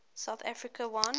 south africa won